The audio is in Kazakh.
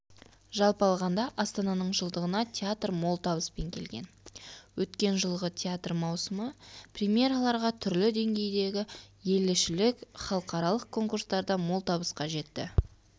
жалпы алғанда астананың жылдығына театр мол табыспен келген өткен жылғы театр маусымы премераларға түрлі деңгейдегі елішілік халықаралық конкурстарда мол табысқа жетті